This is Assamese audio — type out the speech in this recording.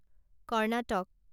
কৰ্ণাটক